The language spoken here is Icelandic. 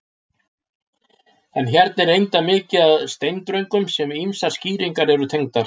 En hérna er reyndar mikið af steindröngum sem ýmsar skýringar eru tengdar.